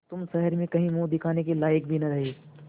तुम शहर में कहीं मुँह दिखाने के लायक भी न रहे